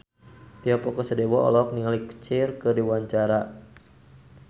Tio Pakusadewo olohok ningali Cher keur diwawancara